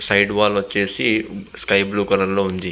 Side wall వచ్చేసి sky blue colour లో ఉంది.